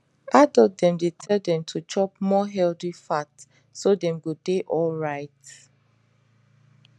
adult dem dey tell them to chop more healthy fat so dem go dey alright